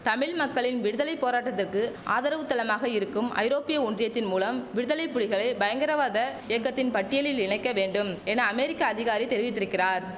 தமிழ் மக்களின் விடுதலை போராட்டத்துக்கு ஆதரவுத்தளமாக இருக்கும் ஐரோப்பிய ஒன்றியத்தின் மூலம் விடுதலை புலிகளை பயங்கரவாத இயக்கத்தின் பட்டியலில் இணைக்க வேண்டும் என அமெரிக்க அதிகாரி தெரிவித்திருக்கிறார்